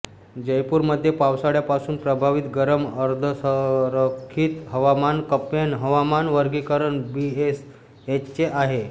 जयपूरमध्ये पावसाळ्यापासून प्रभावित गरम अर्धरखरखीत हवामान कप्पेन हवामान वर्गीकरण बीएसएच आहे